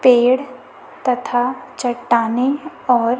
पेड़ तथा चट्टाने और--